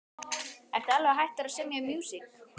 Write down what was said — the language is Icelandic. Ertu alveg hættur að semja músík?